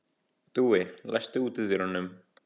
Dúi, læstu útidyrunum.